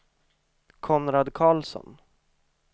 Konrad Karlsson